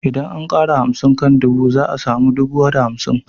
Idan an ƙara hamsin kan dubu za a samu dubu da hamsin